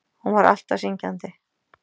Og hún var alltaf syngjandi.